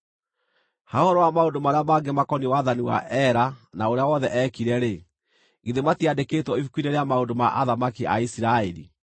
Ha ũhoro wa maũndũ marĩa mangĩ makoniĩ wathani wa Ela na ũrĩa wothe eekire-rĩ, githĩ matiandĩkĩtwo ibuku-inĩ rĩa maũndũ ma athamaki a Isiraeli?